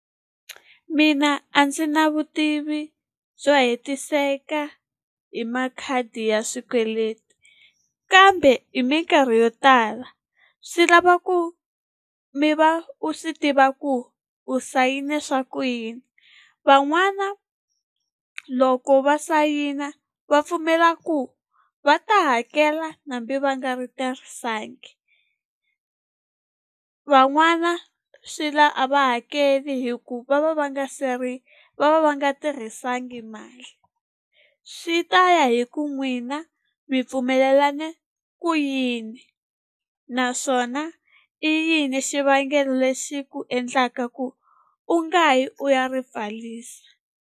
Mina a ndzi na vutivi byo hetiseka hi makhadi ya swikweleti, kambe hi mikarhi yo tala swi lava ku mi va u swi tiva ku u sayine swa ku yini. Van'wana loko va sayina va pfumela ku va ta hakela hambi va nga ri tirhisangi. Van'wana swi lava a va hakeli hikuva va va nga se ri va va va nga tirhisanga mali. Swi ta ya hi ku n'wina mi pfumelerisane ku yini, naswona i yini xivangelo lexi ku endlaka ku u nga yi u ya ri pfarisa.